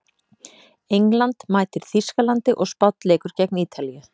England mætir Þýskalandi og Spánn leikur gegn Ítalíu.